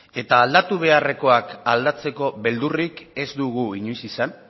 eta aldatu beharrekoak aldatzeko beldurrik ez dugu inoiz izan